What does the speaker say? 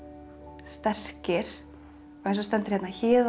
sterkir eins og stendur hérna héðan